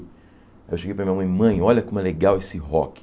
Eu cheguei para a minha mãe e, mãe, olha como é legal esse rock.